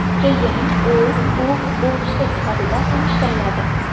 Keyin u klub futbolchisi sifatida tanishtiriladi.